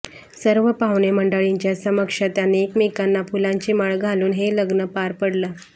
सर्व पाहुणे मंडळींच्या समक्ष त्यांनी एकमेकांना फुलांची माळ घालून हे लग्न पार पडलं